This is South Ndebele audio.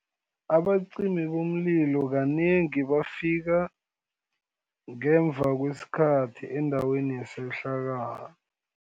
Abacimi bomlilo, kanengi bafika ngemuva kwesikhathi, endaweni yesehlakalo.